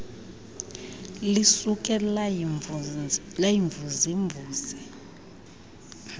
lisuke layimvuze mvuze